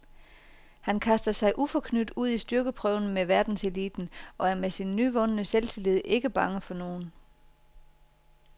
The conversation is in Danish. Han kaster sig uforknyt ud i styrkeprøven med verdenseliten og er med sin nyvundne selvtillid ikke bange for nogen.